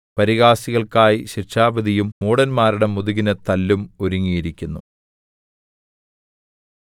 പരിഹാസികൾക്കായി ശിക്ഷാവിധിയും മൂഢന്മാരുടെ മുതുകിന് തല്ലും ഒരുങ്ങിയിരിക്കുന്നു